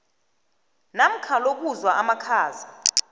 namkha lokuzwa amakhaza